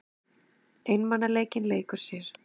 Einmanaleikinn leikur sér.